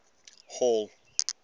hall